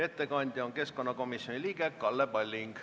Ettekandja on keskkonnakomisjoni liige Kalle Palling.